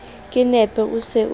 ka nepo o se o